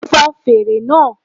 Fon fèrè náà